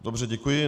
Dobře, děkuji.